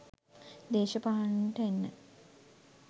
දේශපාලනයට එන්න